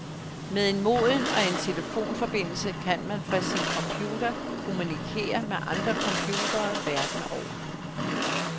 Med et modem og en telefonforbindelse kan man fra sin computer kommunikere med andre computere verden over.